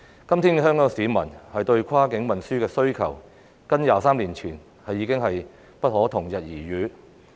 今天，香港市民對跨境運輸的需求與23年前已經不可同日而語。